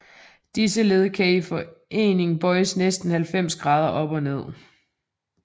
Disse led kan i forening bøjes næsten 90 grader op og ned